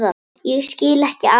Ég skil ekki alveg